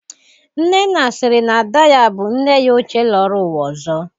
Nnenna siri na Ada ya bụ nne ya ochie lọrọ ụwa ọzọ.